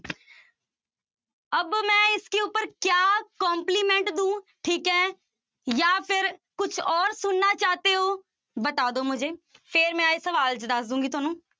ਅਬ ਮੈਂ ਇਸ ਕੇ ਊਪਰ ਕਿਆ compliment ਦਊਂ, ਠੀਕ ਹੈ ਜਾਂ ਫਿਰ ਕੁਛ ਔਰ ਸੁਣਨਾ ਚਾਹਤੇ ਹੋ, ਬਤਾ ਦਓ ਮੁਜੇ, ਫਿਰ ਮੈਂ ਇਹ ਸਵਾਲ ਚ ਦੱਸ ਦਊਂਗੀ ਤੁਹਾਨੂੰ।